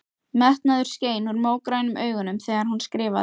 Metnaður skein úr mógrænum augunum þegar hún skrifaði.